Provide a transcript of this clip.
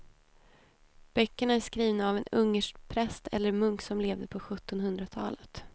Böckerna är skrivna av en ungersk präst eller munk som levde på sjuttonhundratalet.